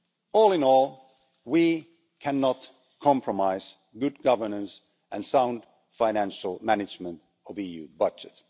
All in all, we cannot compromise good governance and sound financial management of the EU budget.